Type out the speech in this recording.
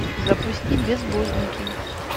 запусти безбожники